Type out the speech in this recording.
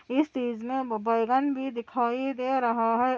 इस तीज मै बैगन भी दिखाई दे रहा है ।